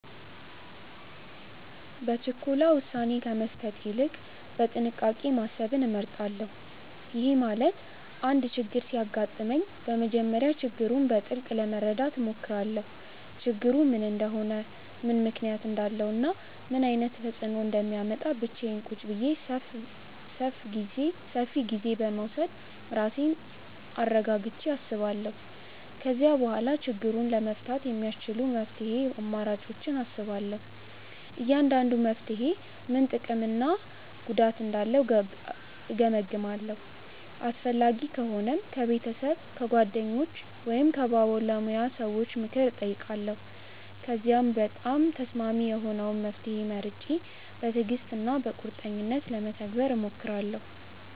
በችኮላ ውሳኔ ከመስጠት ይልቅ በጥንቃቄ ማሰብን እመርጣለሁ። ይሄ ማለት አንድ ችግር ሲያጋጥመኝ በመጀመሪያ ችግሩን በጥልቅ ለመረዳት እሞክራለሁ። ችግሩ ምን እንደሆነ፣ ምን ምክንያት እንዳለው እና ምን ዓይነት ተፅእኖ እንደሚያመጣ ብቻዬን ቁጭ ብዬ ሰፍ ጊዜ በመዉሰድ ራሴን አረጋግቸ አስባለው። ከዚያ በኋላ ችግሩን ለመፍታት የሚያስቺሉ መፍትሄ አማራጮችን አስባለሁ። እያንዳንዱ መፍትሔ ምን ጥቅም ወይም ጉዳት እንዳለው እገምግማለሁ። አስፈላጊ ከሆነም ከቤተሰብ፣ ከጓደኞች ወይም ከባለሙያ ሰዎች ምክር እጠይቃለሁ። ከዚያም በጣም ተስማሚ የሆነውን መፍትሔ መርጬ በትዕግሥት እና በቁርጠኝነት ለመተግበር እሞክራለሁ።